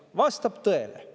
See vastab tõele.